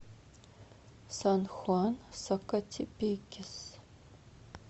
сан хуан сакатепекес